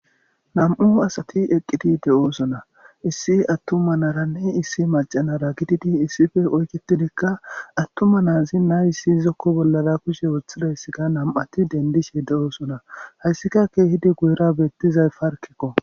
Nam7u asati eqqidi de7oosona issi attuma naranne issi macanara gididi issife oyketidikka attuma naazi naayissi izokko bollara kushe wothidayssika nam7ati dendishe de7oosona hayssikakke hidi guyira beettizay parkekko.